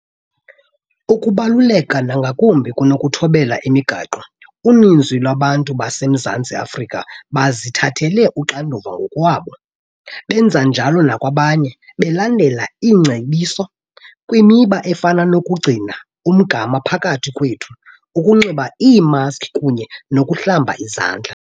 Okubaluleke nangakumbi kunokuthobela imigaqo, uninzi lwabantu baseMzantsi Afrika bazithathele uxanduva ngokwabo benza njalo nakwabanye, belandela iingcebiso kwimiba efana nokugcina umgama phakathi kwethu, ukunxiba iimaskhi kunye nokuhlamba izandla.